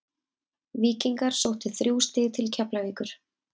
Víkingar sóttu þrjú stig til Keflavíkur.